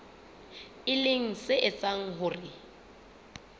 e leng se etsang hore